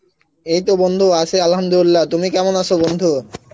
এইত বন্ধু আছি Arbi তুমি কেমন আছে৷ বন্ধু?